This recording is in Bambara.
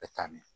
E taa mɛn